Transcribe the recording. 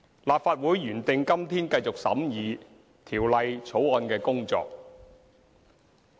立法會原定今天繼續審議《條例草案》的工作。